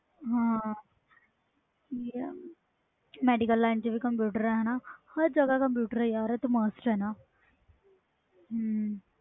ਹੈ medical LINE ਵਿਚ computer ਆ ਹਰ ਜਗ੍ਹਾ ਕੰਪਿਊਟਰ ਯਾਰ